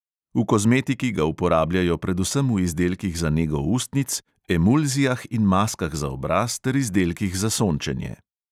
V kozmetiki ga uporabljajo predvsem v izdelkih za nego ustnic, emulzijah in maskah za obraz ter izdelkih za sončenje.